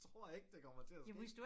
Tror ikke det kommer til at ske